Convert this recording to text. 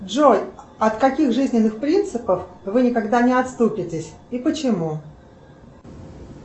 джой от каких жизненных принципов вы никогда не отступитесь и почему